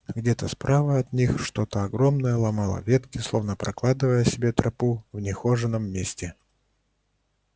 где-то справа от них что-то огромное ломало ветки словно прокладывая себе тропу в нехоженом месте